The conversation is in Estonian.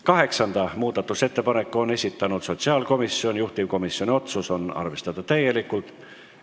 Kaheksanda muudatusettepaneku on esitanud sotsiaalkomisjon, juhtivkomisjoni otsus: arvestada täielikult.